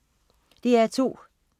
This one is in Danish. DR2: